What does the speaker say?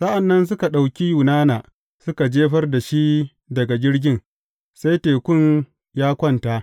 Sa’an nan suka ɗauki Yunana suka jefar da shi daga jirgin, sai tekun ya kwanta.